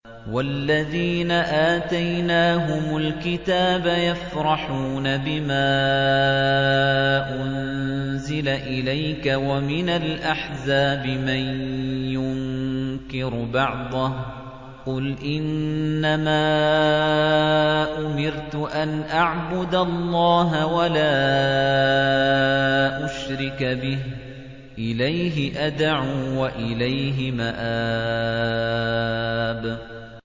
وَالَّذِينَ آتَيْنَاهُمُ الْكِتَابَ يَفْرَحُونَ بِمَا أُنزِلَ إِلَيْكَ ۖ وَمِنَ الْأَحْزَابِ مَن يُنكِرُ بَعْضَهُ ۚ قُلْ إِنَّمَا أُمِرْتُ أَنْ أَعْبُدَ اللَّهَ وَلَا أُشْرِكَ بِهِ ۚ إِلَيْهِ أَدْعُو وَإِلَيْهِ مَآبِ